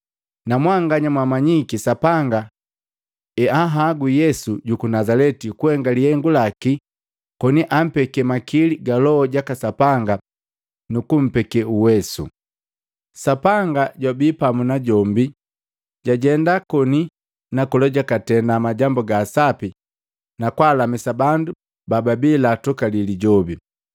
Namwanganya mmanyiki Sapanga heanhagwi Yesu juku Nazaleti kuhenga lihengu laki koni ampeki makili ga Loho jaka Sapanga nukumpeke uwesu. Sapanga jwabi pamu najombi jwajenda koni na kola jwakatenda majambu ga sapi na kwaalamisa bandu bababi lyatukali lijobi.